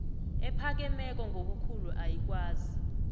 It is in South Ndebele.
ephakemeko ngobukhulu ayikwazi